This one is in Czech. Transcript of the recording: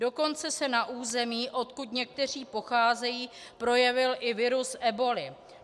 Dokonce se na území, odkud někteří pocházejí, projevil i virus eboly.